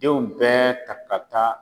Denw bɛɛ ta ka taa